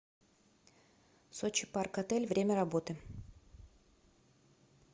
сочи парк отель время работы